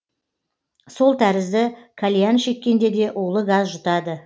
сол тәрізді кальян шеккенде де улы газ жұтады